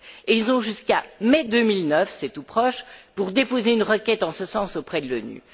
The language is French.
Et ils ont jusqu'à mai 2009 c'est tout proche pour déposer une requête en ce sens auprès de l'ONU.